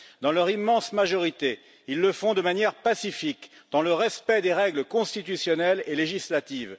Dans leur immense majorité, ils le font de manière pacifique, dans le respect des règles constitutionnelles et législatives.